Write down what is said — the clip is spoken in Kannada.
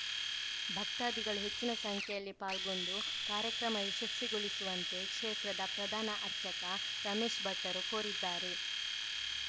ಭಕ್ತಾದಿಗಳು ಹೆಚ್ಚಿನ ಸಂಖ್ಯೆಯಲ್ಲಿ ಪಾಲ್ಗೊಂಡು ಕಾರ್ಯಕ್ರಮ ಯಶಸ್ವಿಗೊಳಿಸುವಂತೆ ಕ್ಷೇತ್ರದ ಪ್ರಧಾನ ಅರ್ಚಕ ರಮೇಶ್‌ ಭಟ್ಟರು ಕೋರಿದ್ದಾರೆ